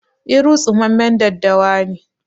Iru tsumammen daddawa ne